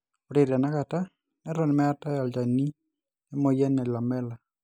ore tena kata neton meetae olchanil emoyian e Lamellar